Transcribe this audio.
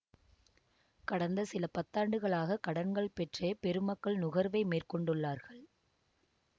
கடந்த சில பத்தாண்டுகளாக கடன்கள் பெற்றே பெருமக்கள் நுகர்வை மேற்கொண்டுள்ளார்கள்